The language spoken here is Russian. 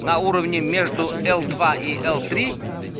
на уровне между л два и л три